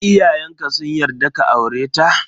Iyayenka sun yarda ka aure ta?